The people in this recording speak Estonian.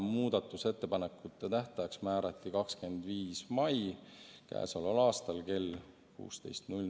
Muudatusettepanekute tähtajaks määrati 25. mai kell 16.